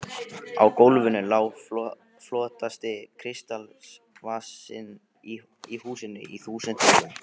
Á GÓLFINU LÁ FLOTTASTI KRISTALSVASINN Í HÚSINU Í ÞÚSUND MOLUM!